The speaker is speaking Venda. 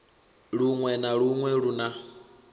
luṅwe na luṅwe lu na